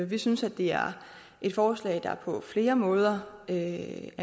vi synes at det er et forslag der på flere måder er